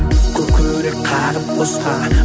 көкірек қағып босқа